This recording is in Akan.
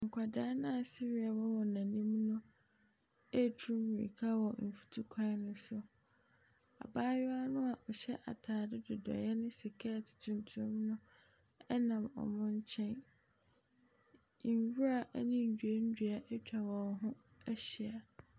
Nkwadaa no a sereɛ wɔ wɔn anim no ɛretu mirika wɔ mfutuo kwan ne so, abaayewa no a ɔhyɛ ataade dodoeɛ ne skɛɛte tuntum no wɔn nkyɛn. Nwura ne nnuannua atwa wɔn ho ahyia.